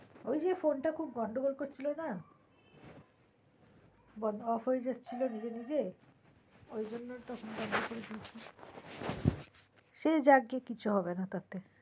ওই যে ফোন টা খুব গন্ডগোল করছিলো না বড্ডো অফ হয়ে যাচ্ছিলো নিজে নিজে ওই জন্য তো সে যাক গে কিছু হবে না তাতে